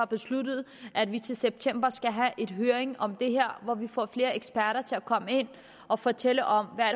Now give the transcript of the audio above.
besluttet at vi til september skal have en høring om det her hvor vi får flere eksperter til at komme ind og fortælle om hvad